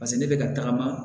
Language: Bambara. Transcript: paseke ne bɛ ka tagama